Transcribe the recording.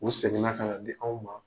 U seginna ka na di anw ma.